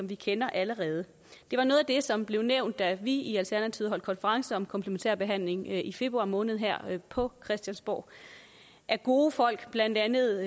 vi kender allerede det var noget af det som blev nævnt da vi i alternativet holdt konference om komplementær behandling i februar måned her på christiansborg af gode folk blandt andet